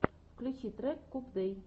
включи трек кубдэй